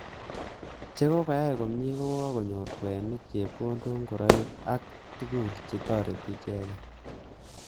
Chekoai komnye kokonyor kweinik, chepkondok, ngoroik aka tuguk chetoretiy icheket